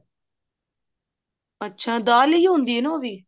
ਅੱਛਾ ਦਾਲ ਇਹੀ ਹੁੰਦੀ ਆ ਨਾ ਉਹ ਵੀ